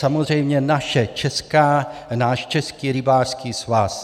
Samozřejmě náš Český rybářský svaz.